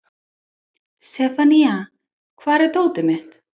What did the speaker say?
Sefanía, hvar er dótið mitt?